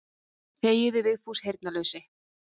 Þegiðu Vigfús heyrnarlausi.